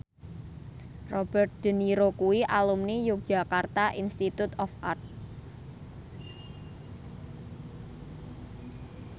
Robert de Niro kuwi alumni Yogyakarta Institute of Art